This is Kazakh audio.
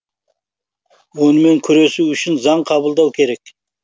онымен күресу үшін заң қабылдау керек